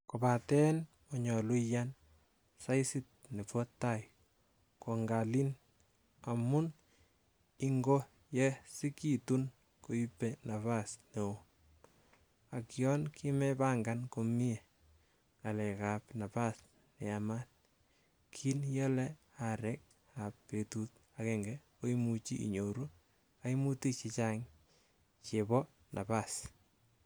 Kobaten monyolu iyaan saisit nebo tai kongalin, amun ingo yosekitun koibe napas neon, ak yon kimepangan komie ng'alek ab napas neyamaat, kin iole aarek ab betut agenge, koimuch inyoru koimutik chechang che bo napas.